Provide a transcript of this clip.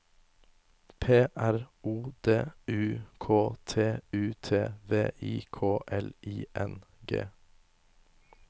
P R O D U K T U T V I K L I N G